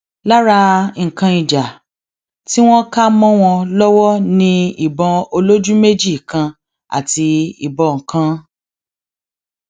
lára nǹkan ìjà tí wọn kà mọ wọn lọwọ ni ìbọn olójú méjì kan àti ìbọn kan